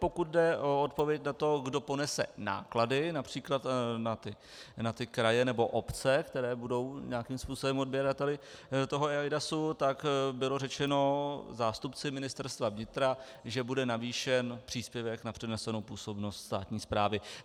Pokud jde o odpověď na to, kdo ponese náklady například na ty kraje nebo obce, které budou nějakým způsobem odběrateli toho eIDAS, tak bylo řečeno zástupci Ministerstva vnitra, že bude navýšen příspěvek na přenesenou působnost státní správy.